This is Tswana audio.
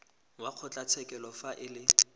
wa kgotlatshekelo fa e le